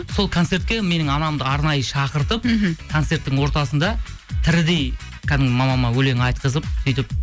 сол концертке менің анамды арнайы шақыртып мхм концерттің ортасында тірідей кәдімгі мамама өлең айтқызып сөйтіп